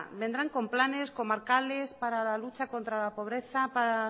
vendrán con planes comarcales para la lucha contra la pobreza